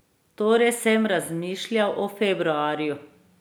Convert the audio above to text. Torej sem razmišljal o februarju.